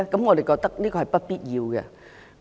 我們認為這是不必要的。